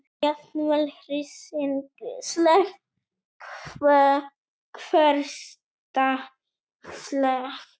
Jafnvel hryssingsleg, hversdagsleg.